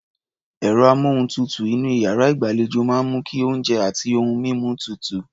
Ẹ̀rọ-amóhùntutù inú iyàrá ìgbàlejò máa ń mú kí oúnjẹ àti ohun mímu tutù.